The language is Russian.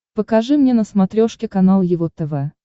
покажи мне на смотрешке канал его тв